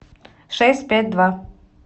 шесть пять два